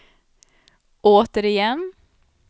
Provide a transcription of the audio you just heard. återigen